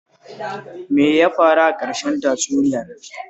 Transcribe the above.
Me ya faru a ƙarshen tatsuniyar?